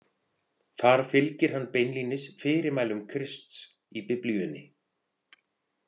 Þar fylgir hann beinlínis fyrirmælum Krists í Biblíunni.